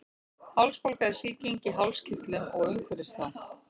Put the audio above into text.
Hálsbólga er sýking í hálskirtlum og umhverfis þá.